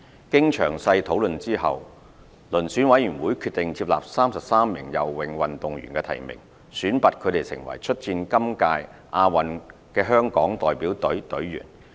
經詳細討論後，遴選委員會決定接納33名游泳運動員的提名，選拔他們成為出戰今屆亞運會的香港代表隊隊員。